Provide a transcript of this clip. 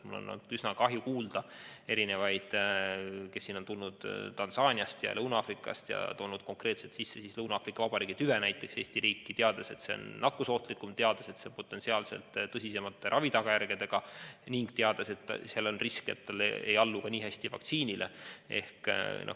On olnud üsna kahetsusväärne kuulda lugusid, kuidas keegi on tulnud Tansaaniast või Lõuna-Aafrikast ja toonud Eestisse sisse Lõuna-Aafrika Vabariigi tüve, teades, et see on nakkusohtlikum, teades, et see on potentsiaalselt tõsisemate tagajärgedega ning teades, et selle puhul on risk, et ta ei allu nii hästi vaktsiinile.